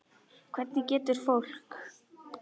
Hvernig getur fólk.